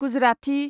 Gujarati